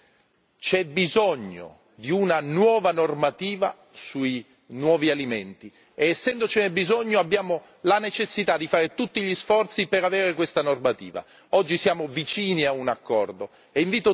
Però di una cosa dobbiamo essere consapevoli c'è bisogno di una nuova normativa sui nuovi alimenti, ed essendocene bisogno abbiamo la necessità di fare tutti gli sforzi per avere questa normativa.